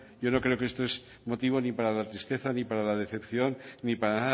yo creo que esto no es motivo ni para la tristeza ni para la decepción ni para